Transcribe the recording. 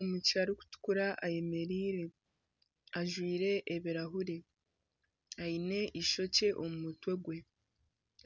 Omwishiki arikutukura ayemereire ajwaire ebirahuuri aine eishokye omu mutwe gwe